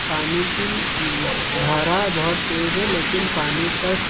पानी की धारा बहुत तेज है लेकिन पानी का--